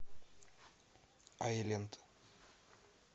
айленд